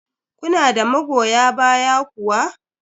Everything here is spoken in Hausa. Kuna da magoya baya kuwa?